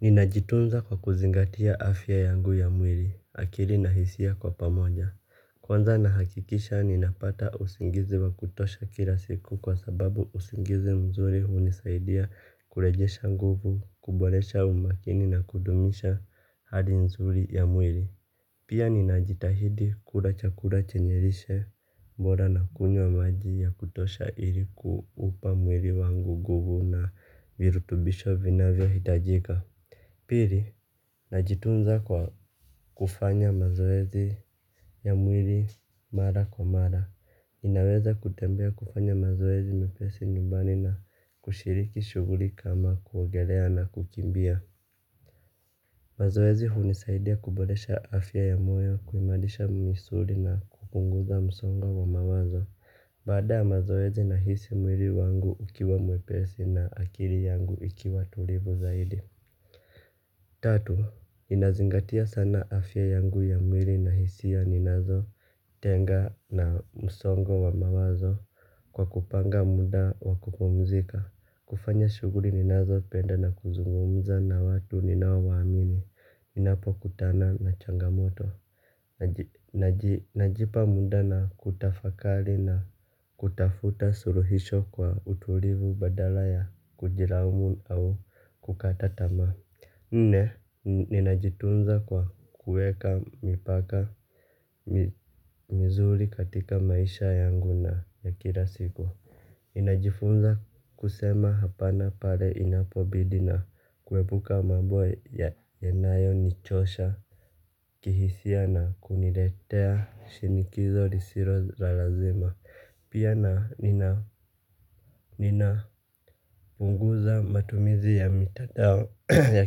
Ninajitunza kwa kuzingatia afya yangu ya mwili akili na hisia kwa pamoja. Kwanza nahakikisha ninapata usingizi wa kutosha kila siku kwa sababu usingizi mzuri hunisaidia kurejesha nguvu kuboresha umakini na kudumisha hali nzuri ya mwili. Pia ninajitahidi kula chakula chenye lishe bora na kunywa maji ya kutosha ili kuupa mwili wangu nguvu na virutubisho vinavyohitajika. Pili, najitunza kwa kufanya mazoezi ya mwili mara kwa mara. Inaweza kutembea kufanya mazoezi mepesi nyumbani na kushiriki shughuli kama kuogelea na kukimbia. Mazoezi hunisaidia kuboresha afya ya moyo, kuimarisha misuri na kupunguza msongo wa mawazo. Baada ya mazoezi nahisi mwili wangu ukiwa mwepesi na akili yangu ikiwa tulivu zaidi. Tatu, ninazingatia sana afya yangu ya mwili na hisia ninazotenga na msongo wa mawazo kwa kupanga muda wa kupumzika. Kufanya shughuli ninazopenda na kuzungumza na watu ninao waamini ninapokutana na changamoto. Najipa muda na kutafakari na kutafuta suluhisho kwa utulivu badala ya kujilaumu au kukata tamaa. Nne, ninajitunza kwa kueka mipaka mizuri katika maisha yangu na ya kila siku. Ninajifunza kusema hapana pale inapobidi na kuepuka mambo yanayonichosha kihisia na kuniletea shinikizo lisilo la lazima. Pia na ninapunguza matumizi ya mitandao ya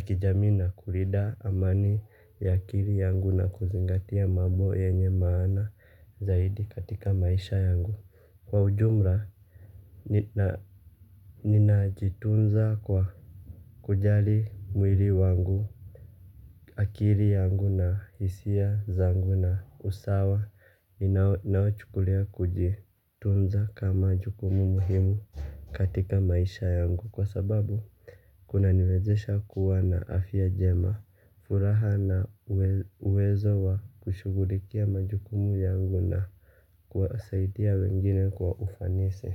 kijamii na kulinda amani ya akili yangu na kuzingatia mambo yenye maana zaidi katika maisha yangu. Kwa ujumla ninajitunza kwa kujali mwili wangu akili yangu na hisia zangu na usawa naochukulia kujitunza kama jukumu muhimu katika maisha yangu kwa sababu kunaniwezesha kuwa na afya jema furaha na uwezo wa kushughulikia majukumu yangu na kuwasaidia wengine kwa ufanisi.